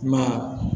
I ma ye